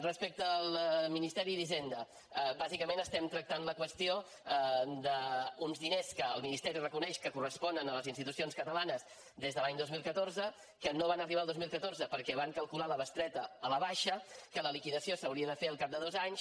respecte al ministeri d’hisenda bàsicament estem tractant la qüestió d’uns diners que el ministeri reconeix que corresponen a les institucions catalanes des de l’any dos mil catorze que no van arribar al dos mil catorze perquè van calcular la bestreta a la baixa que la liquidació s’hauria de fer al cap de dos anys